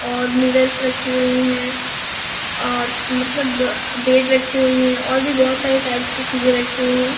और मिरर्स रक्खी हुईं हैं और मतलब आ बेड रक्खी हुईं हैं और भी बहुत सारी टाइप्स की चीजे रक्खी हुईं हैं।